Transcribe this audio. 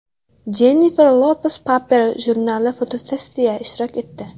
Jennifer Lopes Paper jurnali fotosessiyasida ishtirok etdi.